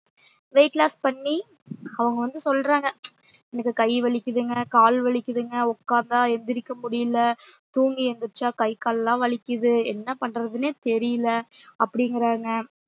weight loss பண்ணி அவுங்க வந்து சொல்றாங்க எனக்கு கை வலிக்குதுங்க கால் வலிக்குதுங்க உட்காந்தா எந்திரிக்க முடில தூங்கி எந்திரிச்ச கை கால்லா வலிக்குது என்னா பண்றதுன்னே தெரில அப்டிங்கிராங்க